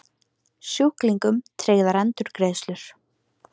Sjúklingum tryggðar endurgreiðslur